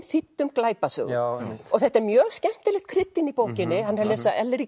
þýddum glæpasögum og þetta er mjög skemmtilegt krydd inn í bókinni hann er að lesa